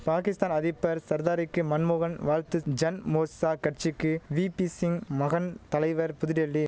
பாகிஸ்தான் அதிப்பர் சர்தாரிக்கி மன்மோகன் வாழ்த்து ஜன்மோர்சா கட்சிக்கி வீப்பிசிங் மகன் தலைவர் புதுடெல்லி